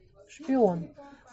шпион